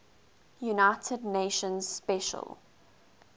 united nations special